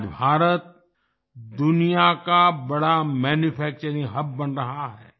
आज भारत दुनिया का बड़ा मैन्यूफैक्चरिंग हब बन रहा है